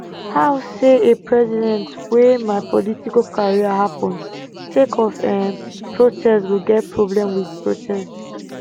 how say a president wey my political career happun sake of um protests go get problem wit protests